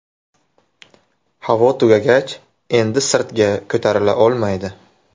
Havo tugagach, endi sirtga ko‘tarila olmaydi.